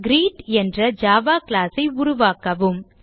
greet என்ற Java class ஐ உருவாக்கவும்